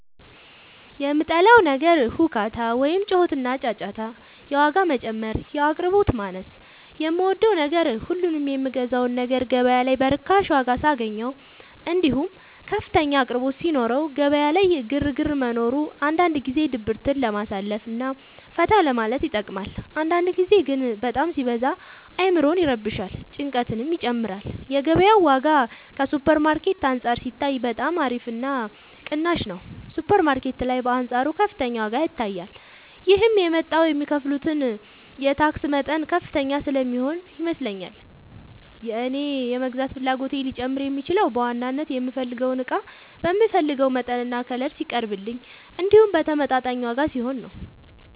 የምጠላው ነገር ሁካታ ወይም ጩኸትና ጫጫታ የዋጋ መጨመር የአቅርቦት ማነስ የምወደው ነገር ሁሉንም የምገዛውን ነገር ገበያ ላይ በርካሽ ዋጋ ሳገኘው እንዲሁም ከፍተኛ አቅርቦት ሲኖረው ገበያ ላይ ግርግር መኖሩ አንዳንድ ጊዜ ድብርትን ለማሳለፍ እና ፈታ ለማለት ይጠቅማል አንዳንድ ጊዜ ግን በጣም ሲበዛ አዕምሮን ይረብሻል ጭንቀትንም ይጨምራል የገበያው ዋጋ ከሱፐር ማርኬት አንፃር ሲታይ በጣም አሪፍ እና ቅናሽ ነው ሱፐር ማርኬት ላይ በአንፃሩ ከፍተኛ ዋጋ ይታያል ይህም የመጣው የሚከፍሉት የታክስ መጠን ከፍተኛ ስለሚሆን ይመስለኛል የእኔ የመግዛት ፍላጎቴ ሊጨምር የሚችለው በዋናነት የምፈልገው እቃ በምፈልገው መጠንና ከለር ሲቀርብልኝ እንዲሁም በተመጣጣኝ ዋጋ ሲሆን ነው።